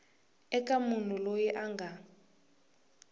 eka munhu loyi a nga